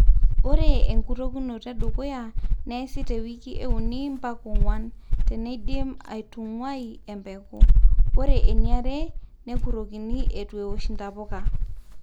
ore enkurokinoto edukuya neesi too wiki uni mpaka onguam teneidim aitunguai embeku, wore eniare nekurokini eitu eosh ntapuka